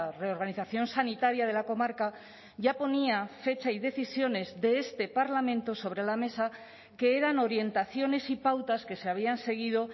reorganización sanitaria de la comarca ya ponía fecha y decisiones de este parlamento sobre la mesa que eran orientaciones y pautas que se habían seguido